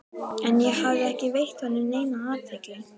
En ég hafði ekki veitt honum neina athygli.